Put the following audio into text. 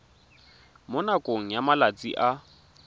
mo nakong ya malatsi a